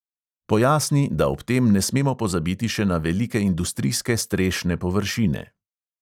Pojasni, da ob tem ne smemo pozabiti še na velike industrijske strešne površine.